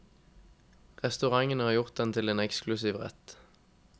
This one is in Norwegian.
Restaurantene har gjort den til en eksklusiv rett.